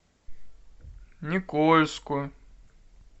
никольску